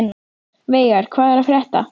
Veigar, hvað er að frétta?